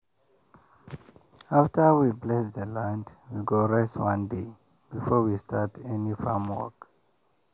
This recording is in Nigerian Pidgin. after we bless the land we go rest one day before we start any farm work.